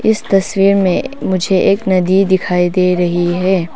इस तस्वीर में मुझे एक नदी दिखाई दे रही है।